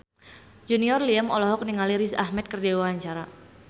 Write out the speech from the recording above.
Junior Liem olohok ningali Riz Ahmed keur diwawancara